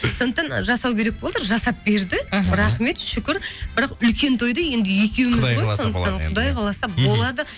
сондықтан жасау керек болды жасап берді іхі рахмет шүкір бірақ үлкен тойды енді екеуіміз ғой сондықтан құдай қаласа болады